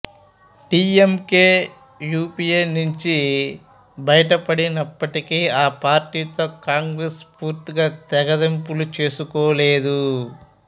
DMK UPA నుంచి బయటపడినప్పటికీ ఆ పార్టీతో కాంగ్రెస్ పూర్తిగా తెగతెంపులు చేసుకోలేదు